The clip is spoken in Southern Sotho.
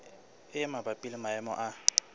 e mabapi le maemo a